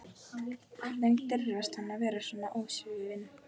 Hvernig dirfist hann að vera svona ósvífinn?